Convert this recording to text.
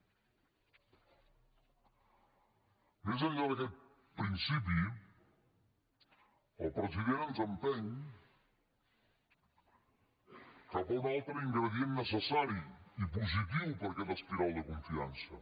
més enllà d’aquest principi el president ens empeny cap a un altre ingredient necessari i positiu per a aquesta espiral de confiança